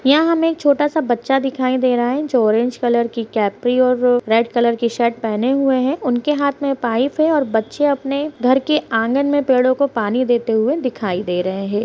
यहा हमे एक छोटा-सा बच्चा दिखाई दे रहा है जो ऑरेंज कलर की कैप्री और रेड कलर की शर्ट पहने हुए है उनके हाथ में पाइप है और बच्चे अपने घर के आँगन में पेड़ों को पानी देते हुए दिखाई दे रहे है।